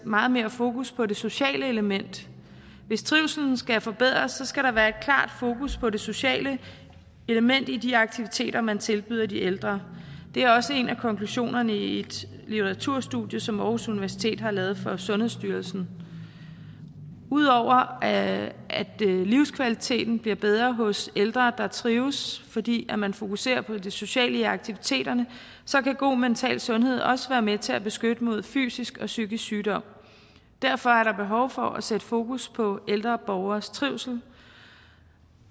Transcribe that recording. meget mere fokus på det sociale element hvis trivslen skal forbedres skal der være et klart fokus på det sociale element i de aktiviteter man tilbyder de ældre det er også en af konklusionerne i et litteraturstudie som aarhus universitet har lavet for sundhedsstyrelsen ud over at livskvaliteten bliver bedre hos ældre der trives fordi man fokuserer på det sociale i aktiviteterne kan god mental sundhed også være med til at beskytte mod fysisk og psykisk sygdom derfor er der behov for at sætte fokus på ældre borgeres trivsel